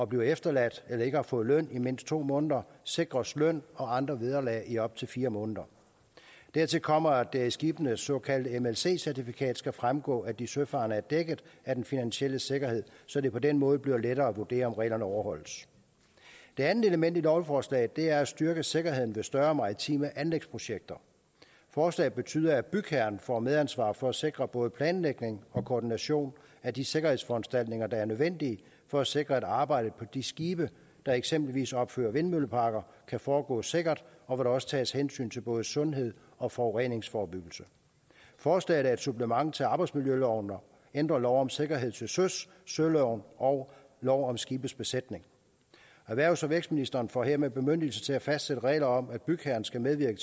bliver efterladt eller ikke har fået løn i mindst to måneder sikres løn og andre vederlag i op til fire måneder dertil kommer at det af skibenes såkaldte mlc certifikat skal fremgå at de søfarende er dækket af den finansielle sikkerhed så det på den måde bliver lettere at vurdere om reglerne overholdes det andet element i lovforslaget er at styrke sikkerheden ved større maritime anlægsprojekter forslaget betyder at bygherren får medansvar for at sikre både planlægning og koordination af de sikkerhedsforanstaltninger der er nødvendige for at sikre at arbejdet på de skibe der eksempelvis opfører vindmølleparker kan foregå sikkert og at der også tages hensyn til både sundhed og forureningsforebyggelse forslaget er et supplement til arbejdsmiljøloven og ændrer lov om sikkerhed til søs søloven og lov om skibes besætning erhvervs og vækstministeren får hermed bemyndigelse til at fastsætte regler om at bygherren skal medvirke